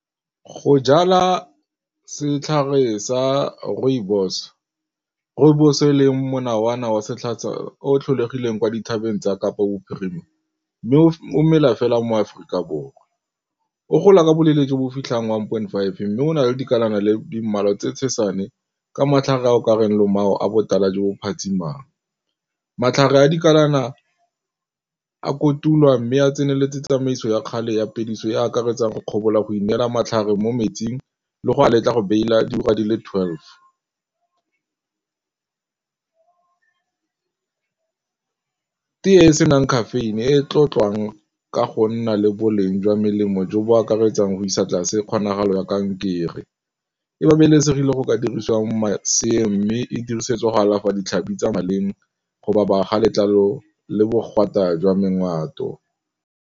Go jala setlhare sa rooibos, rooibos e le o tlholegileng kwa dithabeng tsa Kapa Bophirima mme o mela fela mo Aforika Borwa. O gola ka boleele jo bo o fitlhang one point five mme go na le dikalana le di mmalwa tse ka matlhare a o ka reng lomao a botala jo bo phatsimang. Matlhare a dikalana a kotulwa mme a tseneletse tsamaiso ya kgale ya phediso e e akaretsang go kgobalo a go inela matlhare mo metsing le go letla go bela diura di le twelve. Tee e e senang caffeine e tlotlang ka go nna le boleng jwa melemo jo bo akaretsang go isa tlase kgonagalo ya kankere e babalesegile go ka dirisiwang maswe mme e dirisetswa go alafa ditlhabi tsa maleng go ba letlalo le .